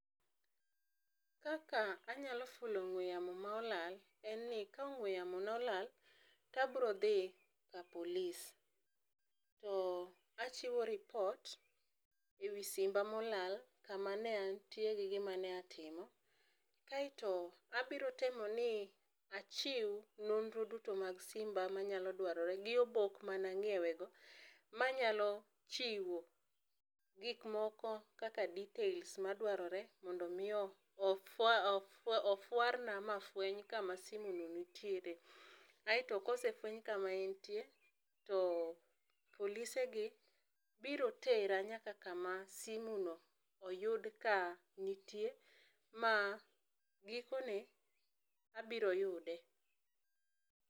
Kaka anyalo fulo ong'we yamo ma olal en ni ka ong'we yamo na olal abiro dhi ka polis to achiwo lipot ee wi simba ma olal, ka ma ne an tie gi gima ne atimo. Kaito abiro temo ni achiw nonro duto mag simba ma nyalo dwarore gi obok ma ne ang'iewo go ma nyalo chiwo gik moko kaka details, ma dwarore mondo mi ofwa ofwar na ma fweny ka ma simo no nitiere aito ka osefeweny ka ma en tie aito polise go biro tera nyaka ka ma simo no oyud ka nitie ma gikone abiro yude.